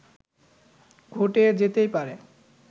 ঘটে যেতেই পারে